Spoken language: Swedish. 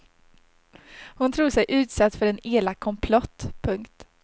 Hon tror sig utsatt för en elak komplott. punkt